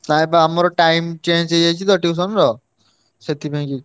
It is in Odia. ନାଇଁ ବା ଆମର time change ହେଇଯାଇଚି ତ tuition ର ସେଥିପାଇଁକି।